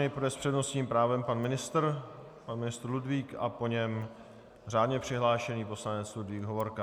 Nejprve s přednostním právem pan ministr Ludvík a po něm řádně přihlášený poslanec Ludvík Hovorka.